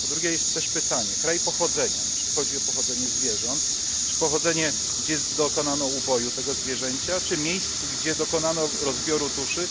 Po drugie, jest też pytanie o kraj pochodzenia, czy chodzi o pochodzenie zwierząt czy miejsce, gdzie dokonano uboju tego zwierzęcia czy miejsce, gdzie dokonano rozbioru tuszy.